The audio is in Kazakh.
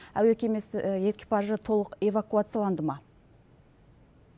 әуе кемесі экипажы толық эвакуацияланды ма